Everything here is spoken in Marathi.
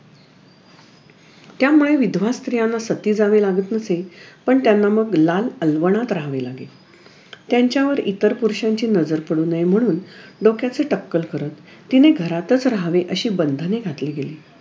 त्यामुळे विधवा स्त्रियांना सती जावे लागत नसे पण त्यांना मग लाल अलवाणात राहावे लागे त्यांच्यावर इतर पुरुषांची नजर पडू नये म्हणून डोक्याचे टक्कल करत तिने घरातच राहावे अशी बंधने घातली गेली